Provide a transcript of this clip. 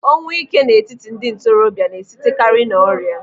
Ọnwụ ike n'etiti ndị ntorobịa na-esitekari n'ọrịa.